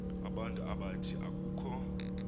abantu abathi akukho